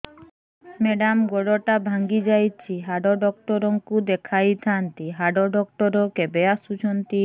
madam ଗୋଡ ଟା ଭାଙ୍ଗି ଯାଇଛି ହାଡ ଡକ୍ଟର ଙ୍କୁ ଦେଖାଇ ଥାଆନ୍ତି ହାଡ ଡକ୍ଟର କେବେ ଆସୁଛନ୍ତି